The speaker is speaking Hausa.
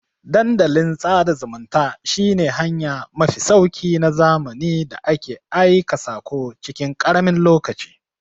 Dandalin sada zumunta shi ne hanya mafi sauki na zamani da ake aika sako cikin karamin lokaci